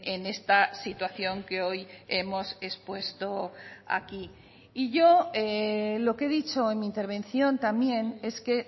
en esta situación que hoy hemos expuesto aquí y yo lo que he dicho en mi intervención también es que